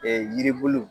yiribuluw